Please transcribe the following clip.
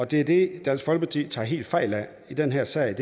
det er det dansk folkeparti tager helt fejl af i den her sag